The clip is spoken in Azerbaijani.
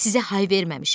Sizə hay verməmişəm.